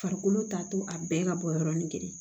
Farikolo ta to a bɛɛ ka bɔ yɔrɔnin kelen